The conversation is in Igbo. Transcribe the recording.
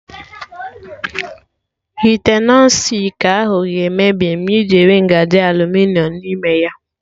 Ite Nọn stik ahụ ga-emebi ma ị jiri ngaji aluminiọm n'ime ya